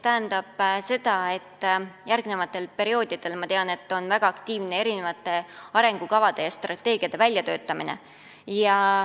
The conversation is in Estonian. Ma tean, et järgnevatel perioodidel seisab ees väga aktiivne arengukavade ja strateegiate väljatöötamine.